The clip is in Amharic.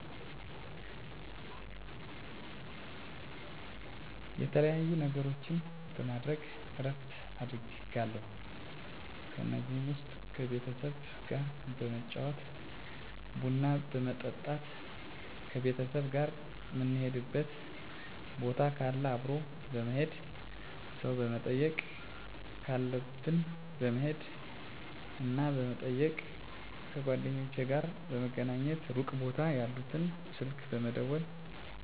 የተለያዩ ነገሮችን በማድረግ እረፍት አደርጋለሁ ከነዚህም ውስጥ ከቤተሰብ ጋር በመጫወት ቡና በመጠጣት ከቤተሰብ ጋር ምንሄድበት ቦታ ካለ አብሮ በመሄድ ሰው መጠየቅ ካለብን በመሄድና በመጠየቅ ከጓደኞቼ ጋር በመገናኘትና ሩቅ ቦታ ያሉትን ስልክ በመደወልና በማውራት የሚያስፈልገኝን ምግብ በመስራት ፊልም በማየት ለቀጣይ ስራ ሚዘጋጅ ነገር ካለ በማዘጋጀት እረፍት አደርጋለሁ። ምን ያህል ስዓት እረፍት እንደማደርግ በትክክል ማወቅ ቢከብድም በቀን በአማካኝ ከአንድ እስከ ሁለት ሰዓት እረፍት አደርጋለሁ ብየ አስባለሁ።